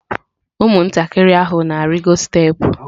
Ụmụntakịrị ahụ na-arịgo steepụ.